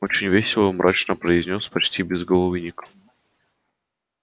очень весело мрачно произнёс почти безголовый ник